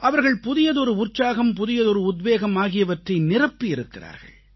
அவர்கள் புதியதொரு உற்சாகம் புதியதொரு உத்வேகம் ஆகியவற்றை நிரப்பியிருக்கிறார்கள்